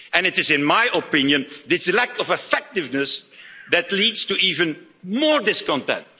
late. And it is, in my opinion, this lack of effectiveness that leads to even more discontent.